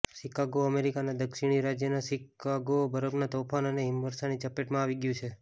Chicago અમેરિકાના દક્ષિણી રાજ્ય શિકાગો બરફના તોફાન અને હિમવર્ષાની ચપેટમાં આવી ગયું છે